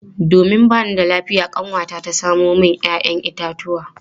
Domin ba ni da lafiya kanwata ta samo min 'ya'yan itatuwa.